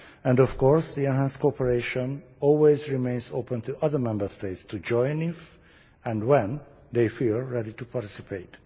And, of course, the enhanced cooperation system always remains open to other Member States to join, if and when they feel ready to participate.